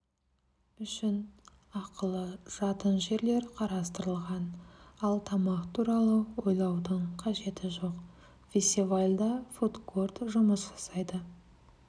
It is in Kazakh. үшін ақылы жатын жерлер қарастырылған ал тамақ туралы ойлаудың қажеті жоқ фестивальда фудкорт жұмыс жасайды